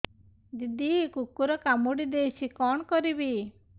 ଦିଦି କୁକୁର କାମୁଡି ଦେଇଛି କଣ କରିବି